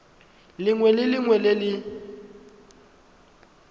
lengwe le lengwe le le